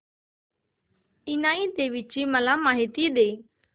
इनाई देवीची मला माहिती दे